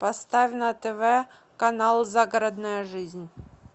поставь на тв канал загородная жизнь